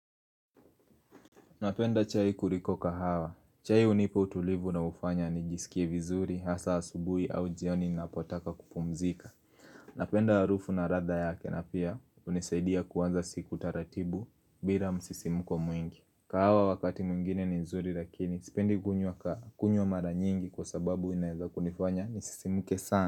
Napenda chai kuriko kahawa. Chai hunipa utulivu unaofanya nijisikie vizuri, hasa asubui au jioni napotaka kupumzika. Napenda harufu na radha yake na pia hunisaidia kuanza siku taratibu bila msisimko mwingi. Kahawa wakati mwingine ni nzuri lakini, sipendi kunywa ka kunywa mara nyingi kwa sababu inaeza kunifanya nisisimke sana.